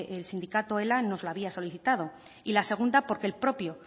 el sindicado ela nos la había solicitado y la segunda porque el propio